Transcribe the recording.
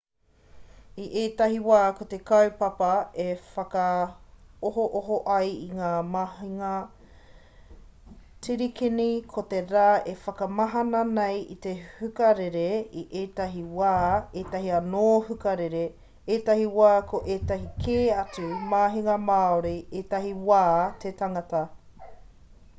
i ētahi wā ko te kaupapa e whakaohooho ai i ngā mahinga tirikini ko te rā e whakamahana nei i te hukarere i ētahi wā ētahi anō hukarere ētahi wā ko ētahi kē atu mahinga māori ētahi wā te tangata